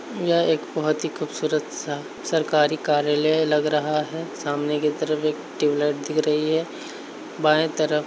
यह एक बहुत ही खूबसूरत-सा सरकारी कार्यालय लग रहा है। सामने की तरफ एक ट्यूबलाइट दिख रही है बायें तरफ --